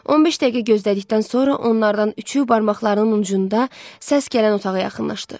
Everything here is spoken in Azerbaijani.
15 dəqiqə gözlədikdən sonra onlardan üçü barmaqlarının ucunda səs gələn otağa yaxınlaşdı.